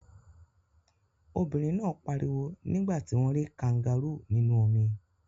Obìnrin náà pariwo nígbà tí wọ́n rí kangárù nínú omi.